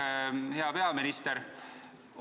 Aitäh, hea peaminister!